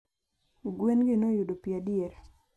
Gwen gi noyudo pi adier?